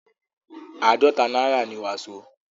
àádọ̀ta náírà ni wàsó.